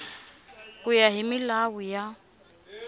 ku ya hi milawu ya